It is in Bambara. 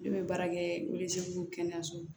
Ne bɛ baara kɛ kɛnɛyaso la